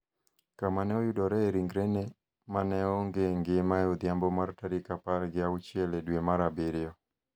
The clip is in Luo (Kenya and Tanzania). kama ne oyudoree ringrene ma ne onge ngima e odhiambo mar tarik apar gi auchiel e dwe mar Abiriyo.